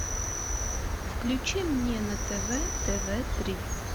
включи мне на тв тв три